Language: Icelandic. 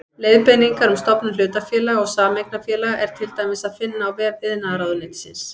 Leiðbeiningar um stofnun hlutafélaga og sameignarfélaga er til dæmis að finna á vef iðnaðarráðuneytisins.